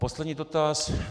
Poslední dotaz.